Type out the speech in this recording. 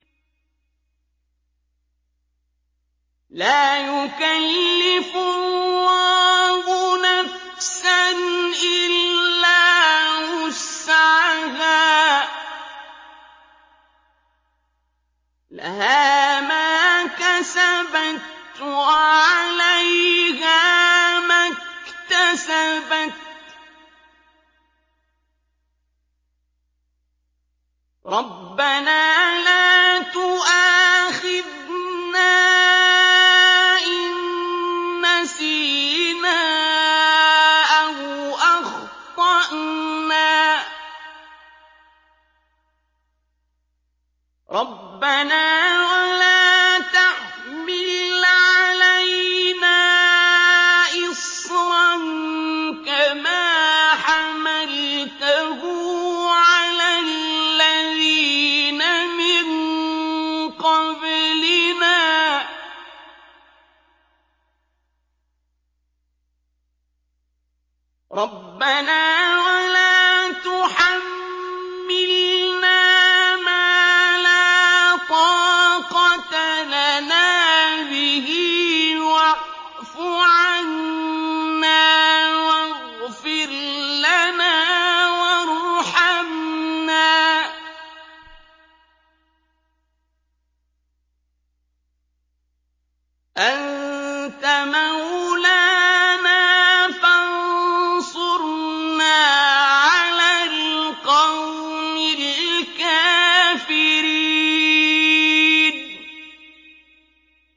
لَا يُكَلِّفُ اللَّهُ نَفْسًا إِلَّا وُسْعَهَا ۚ لَهَا مَا كَسَبَتْ وَعَلَيْهَا مَا اكْتَسَبَتْ ۗ رَبَّنَا لَا تُؤَاخِذْنَا إِن نَّسِينَا أَوْ أَخْطَأْنَا ۚ رَبَّنَا وَلَا تَحْمِلْ عَلَيْنَا إِصْرًا كَمَا حَمَلْتَهُ عَلَى الَّذِينَ مِن قَبْلِنَا ۚ رَبَّنَا وَلَا تُحَمِّلْنَا مَا لَا طَاقَةَ لَنَا بِهِ ۖ وَاعْفُ عَنَّا وَاغْفِرْ لَنَا وَارْحَمْنَا ۚ أَنتَ مَوْلَانَا فَانصُرْنَا عَلَى الْقَوْمِ الْكَافِرِينَ